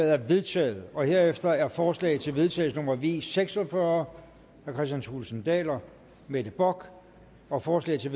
er vedtaget herefter er forslag til vedtagelse nummer v seks og fyrre af kristian thulesen dahl og mette bock og forslag til